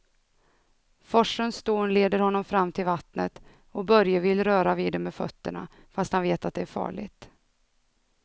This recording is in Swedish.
Forsens dån leder honom fram till vattnet och Börje vill röra vid det med fötterna, fast han vet att det är farligt.